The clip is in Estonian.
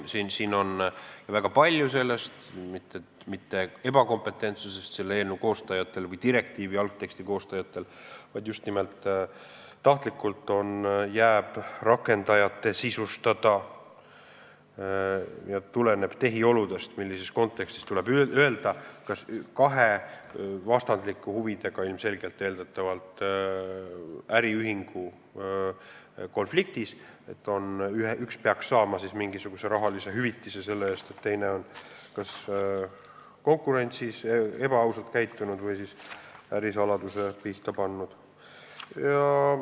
Eelnõu koostajad või direktiivi algteksti koostajad ei ole olnud mitte ebakompetentsed, vaid just nimelt tahtlikult on jäetud tulenevalt tehioludest rakendajate sisustada see, millises kontekstis tuleb öelda, kas kahe ilmselgelt vastandlike huvidega äriühingu konfliktis peaks üks saama mingisuguse rahalise hüvitise selle eest, et teine on kas konkurentsis ebaausalt käitunud või ärisaladuse pihta pannud.